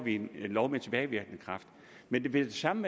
en lov med tilbagevirkende kraft men vil det samme